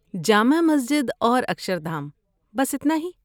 جامع مسجد اور اکشردھام، بس اتنا ہی۔